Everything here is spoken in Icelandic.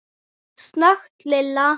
snökti Lilla.